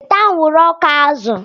Weta anwụrụ ọkụ azụ!